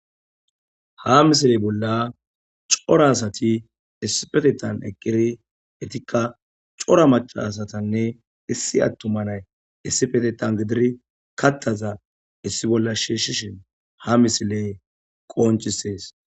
ha misiley bolla cora asati issipetettan eqqiri etikka cora macaasatanne issi attuma nay issipetetan gidiri kattaza issi bolla shiishshishin ha misiley qoncisees